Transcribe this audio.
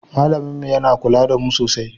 Malamin mu yana kula da mu sosai.